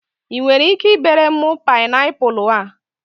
I nwere ike ibere m paịnapụlụ a?